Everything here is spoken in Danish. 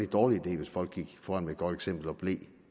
dårlig idé hvis folk gik foran med et godt eksempel og blev